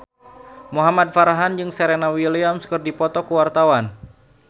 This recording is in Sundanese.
Muhamad Farhan jeung Serena Williams keur dipoto ku wartawan